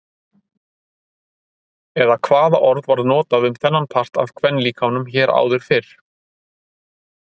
Eða hvaða orð var notað um þennan part af kvenlíkamanum hér áður fyrr?